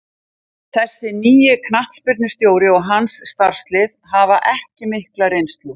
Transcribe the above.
Þessi nýi knattspyrnustjóri og hans starfslið hafa ekki mikla reynslu.